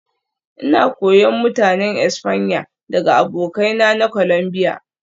Ina koyon Mutanen Espanya daga abokaina na Colombia